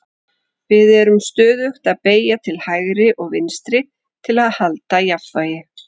Við erum stöðugt að beygja til hægri og vinstri til að halda jafnvægi.